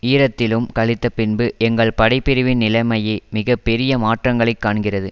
ஈரத்திலும் கழித்தபின்பு எங்கள் படை பிரிவின் நிலைமையே மிக பெரிய மாற்றங்களைக் காண்கிறது